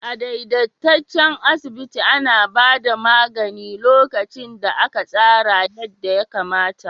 A daidaitaccen asibiti ana ba da magani lokacin da aka tsara yadda ya kamata.